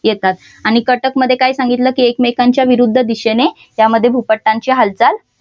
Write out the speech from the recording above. येतात आणि कटकमध्ये काय सांगितलं की एकमेकांच्या विरुद्ध दिशेने त्यामध्ये भूपटांची हालचाल